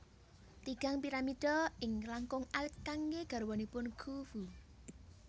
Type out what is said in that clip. Tigang piramida ingkang langkung alit kanggé garwanipun Khufu